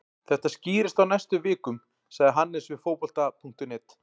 Þetta skýrist á næstu vikum, sagði Hannes við Fótbolta.net.